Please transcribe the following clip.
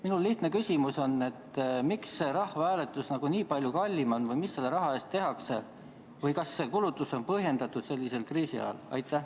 Minu lihtne küsimus on, miks rahvahääletus nii palju kallim on või mis selle raha eest tehakse või kas see kulutus on sellisel kriisiajal põhjendatud.